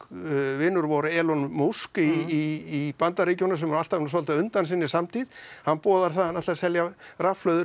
vinur vor musk í BNA sem nú alltaf svolítið á undan sinni samtíð hann boðar það að hann ætli að selja rafhlöður